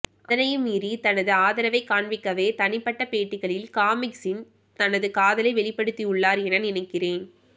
அதனையும் மீறி தனது ஆதரவை காண்பிக்கவே தனிப்பட்ட பேட்டிகளில் காமிக்ஸின் தனது காதலை வெளிப்படுத்தியுள்ளார் என நினைக்கிறேன்